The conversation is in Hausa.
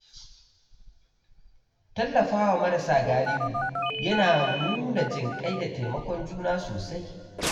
Tallafawa marasa galihu yana nuna jinƙai da taimakon juna sosai.